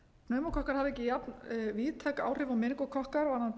pneumókokkar hafa ekki jafnvíðtæk áhrif og meningókokkar varðandi